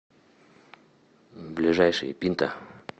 ближайший пинта